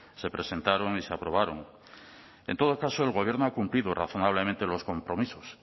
se presentaron y se aprobaron en todo caso el gobierno ha cumplido razonablemente los compromisos